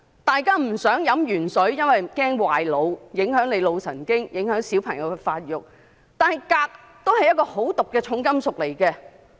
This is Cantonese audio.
大家不想飲"鉛水"，因為擔心會損害腦部，影響腦神經和影響小朋友發育；但鎘也是一種毒素很高的重金屬。